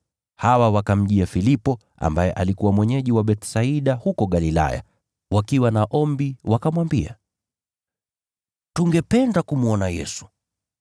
Hawa wakamjia Filipo, ambaye alikuwa mwenyeji wa Bethsaida huko Galilaya, wakiwa na ombi. Wakamwambia, “Tungependa kumwona Yesu.”